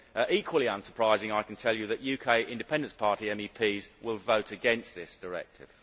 Equally unsurprisingly, I can tell you that UK Independence Party MEPs will vote against this directive.